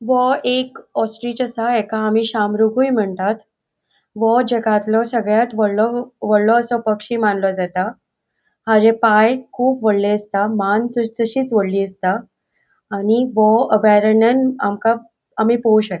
वो एक ऑस्ट्रिच असा एका आमी शहामृगुय म्हणतात वो जगातलों सगळ्यात वॉडलों वॉडलों असो पक्षी मानलों जाता पाय खूब वोडले असता मान तशीत वोडली असता आणि वो अभयारण्यान आमका आमी पोयु शकता.